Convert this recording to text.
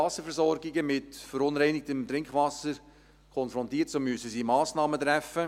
Wasserversorgungen mit verunreinigtem Trinkwasser konfrontiert, so müssen sie Massnahmen treffen;